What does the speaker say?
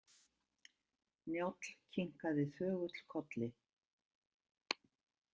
Njáll kinkaði þögull kolli.